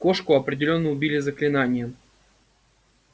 кошку определённо убили заклинанием